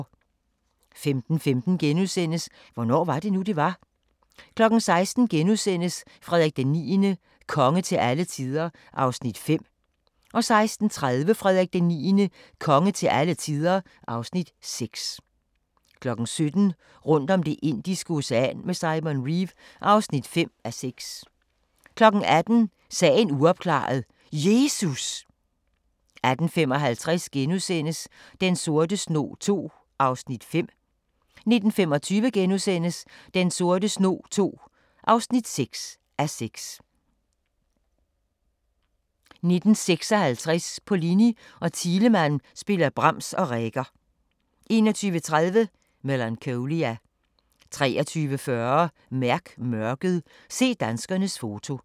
15:15: Hvornår var det nu, det var? * 16:00: Frederik IX – konge til alle tider (Afs. 5)* 16:30: Frederik IX – konge til alle tider (Afs. 6) 17:00: Rundt om Det indiske Ocean med Simon Reeve (5:6) 18:00: Sagen uopklaret – Jesus! 18:55: Den sorte snog II (5:6)* 19:25: Den sorte snog II (6:6)* 19:56: Pollini og Thielemann spiller Brahms og Reger 21:30: Melancholia 23:40: Mærk Mørket: Se danskernes foto